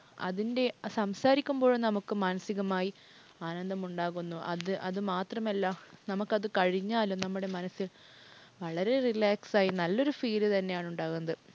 അതിന്‍റെ സംസാരിക്കുമ്പോൾ നമുക്ക് മാനസികമായി ആനന്ദമുണ്ടാകുന്നു. അത് അത് മാത്രമല്ല. നമുക്കത് കഴിഞ്ഞാലും നമ്മുടെ മനസ്സിൽ വളരെ relaxed ആയി നല്ലൊരു feel തന്നെയാണ് ഉണ്ടാകുന്നത്.